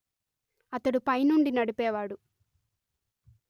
అతడు పైనుండి నడిపేవాడు